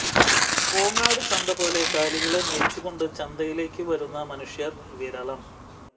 കോങ്ങാട് ചന്തപോലെ കാലികളെ മേയ്ച്ചു കൊണ്ട് ചന്തയിലേക്ക് വരുന്ന മനുഷ്യര് വിരളം